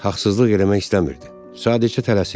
Haqlıq etmək istəmirdi, sadəcə tələsirdi.